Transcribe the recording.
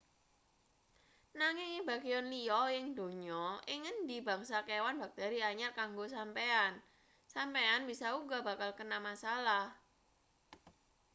nanging ing bagean liya ing donya ing ngendi bangsa kewan bakteri anyar kanggo sampeyan sampeyan bisa uga bakal kena masalah